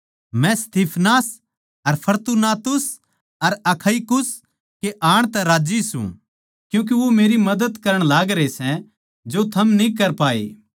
मै Stephanas अर Fortunatus अर Achaicus कै आण तै राज्जी सूं क्यूँके वो मेरी मदद करण लागरे सै जो थम न्ही कर पाए